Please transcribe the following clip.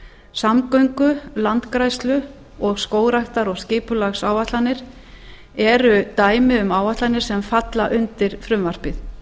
samgöngu landgræðslu og skógræktar og skipulagsáætlanir eru dæmi um áætlanir sem falla undir frumvarpið